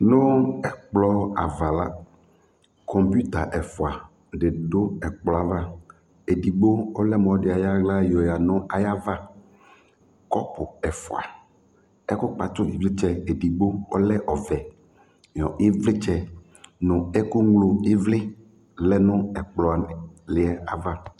Nʋ ɛkplɔ ava la, kɔmpuita ɛfʋa dɩ dʋ ɛkplɔ yɛ ava Edogbo ɔlɛ mʋ ɔlɔdɩ ayɔ aɣla yɔyǝ nʋ ayava Kɔpʋ ɛfʋa, ɛkʋkpatʋ ɩvlɩtsɛ edigbo ɔlɛ ɔvɛ nʋ ɩvlɩtsɛ nʋ ɛkʋŋlo ɩvlɩ lɛ nʋ ɛkplɔ lɩ yɛ ava